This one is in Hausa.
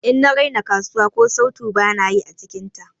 In na raina kasuwa, ko sautu bana yi ã cikin ta.